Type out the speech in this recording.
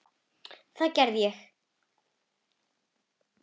Það gerði ég.